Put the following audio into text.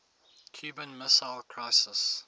cuban missile crisis